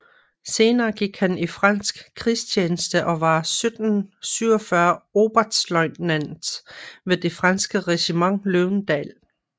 Senere gik han i fransk krigstjeneste og var 1747 oberstløjtnant ved det franske regiment Løvendal